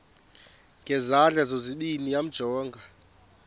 ngezandla zozibini yamjonga